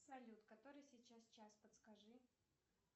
салют который сейчас час подскажи